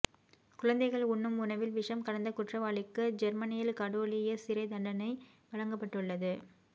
குழந்தைகள் உண்ணும் உணவில் விஷம் கலந்த குற்றவாளிக்கு ஜேர்மனியில் கடூழிய சிறை தண்டணை வழங்கப்பட்டுள்ளது